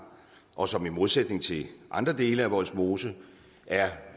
og som i modsætning til andre dele af vollsmose er